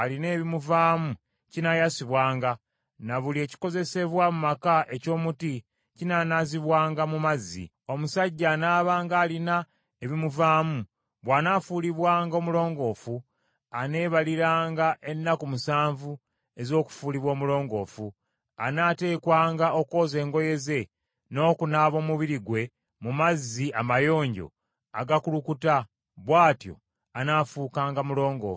“Omusajja anaabanga alina ebimuvaamu bw’anaafuulibwanga omulongoofu, aneebaliranga ennaku musanvu ez’okufuulibwa omulongoofu; anaateekwanga okwoza engoye ze n’okunaaba omubiri gwe mu mazzi amayonjo agakulukuta, bw’atyo anaafuukanga mulongoofu.